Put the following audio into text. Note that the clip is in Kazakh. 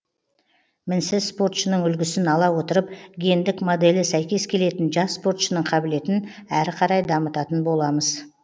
мінсіз спортшының үлгісін ала отырып гендік моделі сәйкес келетін жас спортшының қабілетін әрі қарай дамытатын боламыз